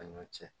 A ɲɔ cɛ